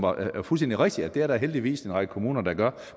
og det er fuldstændig rigtigt at det er der heldigvis en række kommuner der gør